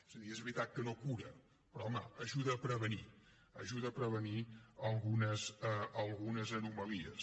és a dir és veritat que no cura però home ajuda a prevenir ajuda a prevenir algunes anomalies